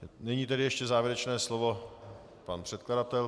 Nyní tedy ještě závěrečné slovo pan předkladatel.